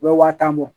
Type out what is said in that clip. U bɛ waa tan bɔ